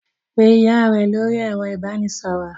Pe ìyá rẹ lórí ẹ̀rọ ìbanisọ̀rọ̀!